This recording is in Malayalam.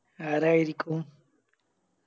ആരായിരിക്കും